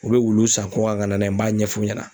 U be wulu san kɔkan ka na n'a ye n b'a ɲɛfu ɲɛna.